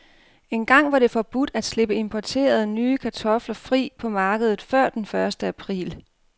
Engang var det forbudt at slippe importerede, nye kartofler fri på markedet før den første april.